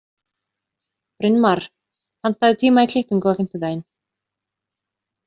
Brynmar, pantaðu tíma í klippingu á fimmtudaginn.